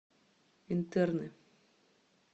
интерны